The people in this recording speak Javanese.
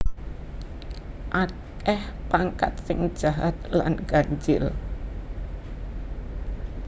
Akeh pangkat sing jahat lan ganjil